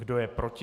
Kdo je proti?